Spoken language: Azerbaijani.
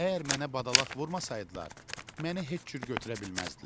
Əgər mənə badalaq vurmasaydılar, məni heç cür götürə bilməzdilər.